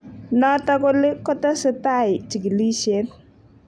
Notok oli kotesetai chikilisiet.